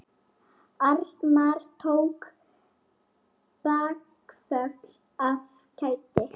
Arnar tók bakföll af kæti.